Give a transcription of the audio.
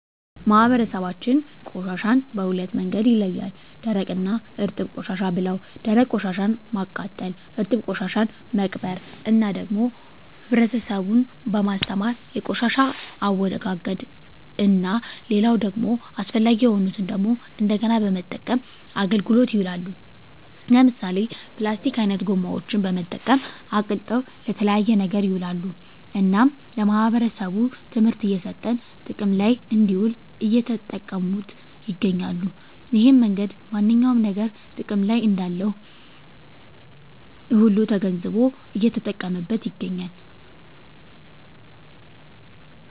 ማህበረሰባችን ቆሻሻን በሁለት መንገድ ይለያል ደረቅ እና እርጥብ ቆሻሻ ብለው ደረቅ ቆሻሻን ማቃጠል እርጥብ ቆሻሻን መቅበር እና ደግሞ ህብረተሰቡን በማስተማር የቆሻሻን አወጋገድ እና ሌላው ደግሞ አስፈላጊ የሆኑትን ደግሞ እንደገና በመጠቀም አገልግሎት ይውላሉ ለምሳሌ ፕላስቲክ አይነት ጎማዎችን በመጠቀም አቅልጠው ለተለያየ ነገር ይውላሉ እናም ለማህበረሰቡ ትምህርት እየሰጠን ጥቅም ለይ እንድውል እየተጠቀሙት ይገኛሉ እሄን መንገድ ማንኛውም ነገር ጥቅም እንዳለው ሁሉ ተገንዝቦ እየተጠቀመበት ይገኛል